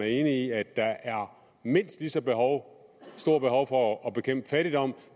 enig i at der er mindst lige så stort behov for at bekæmpe fattigdom